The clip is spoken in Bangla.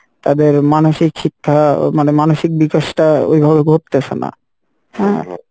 তাদের মানসিক শিক্ষা মানে মানসিক বিকাশ টা ওইভাবে ঘটতেছে না হ্যাঁ